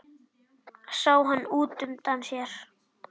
Sá hann útundan sér.